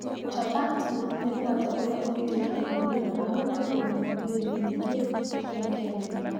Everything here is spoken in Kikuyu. Chapati, nĩ mũgate ũria ũrutĩtwo India, na ũhũthagĩrũo mũno irio-inĩ nyingĩ cia Kenya.